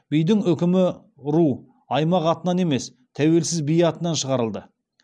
бидің үкімі ру аймақ атынан емес тәуелсіз би атынан шығарылды